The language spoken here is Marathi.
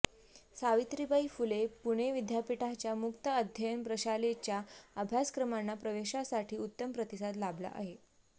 सावित्रीबाई फुले पुणे विद्यापीठाच्या मुक्त अध्ययन प्रशालेच्या अभ्यासक्रमांना प्रवेशासाठी उत्तम प्रतिसाद लाभला आहे